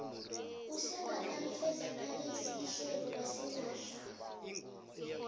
usengakalifezakalisi ihlelo lasimahla